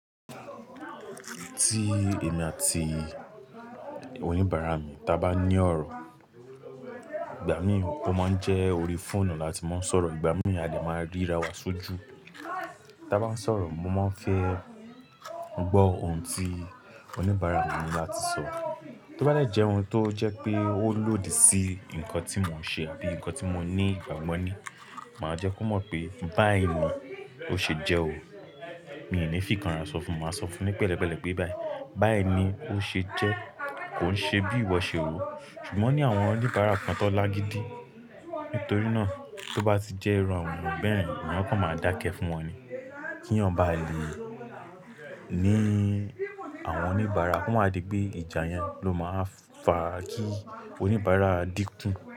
Tí èmi àti oníbàárà mi bá ní ọ̀rọ̀, ìgbà mìíràn ó máa ń jẹ́ orí fóònù láti máa ń sọ̀rọ̀, ìgbà mìíràn a lè máa ríra wa súùjú. Ta bá ń sọ̀rọ̀, mo máa ń fẹ́ gbọ́ ohun tí oníbàárà mi ni láti sọ. Tí ó bá dè jẹ́ ohun tó jẹ́ pé ó lòdì sí nǹkan tí mò ń ṣe bíi ǹnkan tí mò ní, ìgbàgbo ni màá jẹ́ kó mọ̀ pé báyì ni ó ṣe jẹ́ o. Mi ò ní fìkànrá sọ fun, màá sọ fun ní pẹ̀lẹ́pẹ̀lẹ́ pé báyì, báyì ni ó ṣe jẹ́, kò ń ṣe bí ìwọ ṣe rò ó. Ṣùgbọ́n o ní àwọn oníbàárà kan tó lágidi, nítorí náà tí ó bá ti jẹ́ iru àwọn ènìyàn beyen èyán kan máa dákẹ́ fún wọn ni. Kí yan bá lè ní àwọn oníbàárà, ko ma wa di pé ìjà yẹn ló máa wa fa kí oníbàárà dínkù.